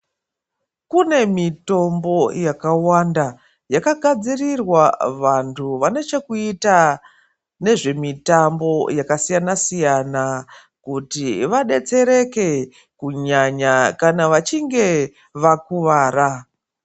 Kune mitombo yakawanda yakagadzirirwa vantu vane chekuita nezvemitambo yakasiyana siyana kuti vadetsereke kunyanya kana vachinge vakuwara .